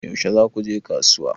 Yaushe za ku je kasuwa?